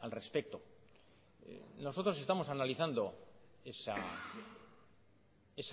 al respecto nosotros estamos analizando esa